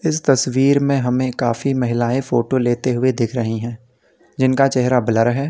इस तस्वीर में हमें काफी महिलाएं फोटो लेते हुए दिख रही हैं जिनका चेहरा ब्लर है।